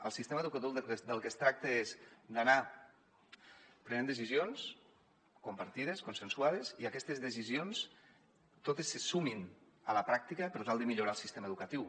al sistema educatiu del que es tracta és d’anar prenent decisions compartides consensuades i aquestes de·cisions totes se sumin a la pràctica per tal de millorar el sistema educatiu